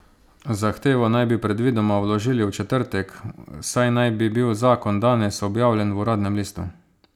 Zahtevo naj bi predvidoma vložili v četrtek, saj naj bi bil zakon danes objavljen v uradnem listu.